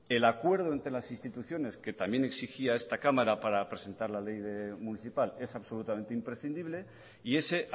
el acuerdo entre las instituciones que también exigía esta cámara para presentar la ley municipal es absolutamente imprescindible y ese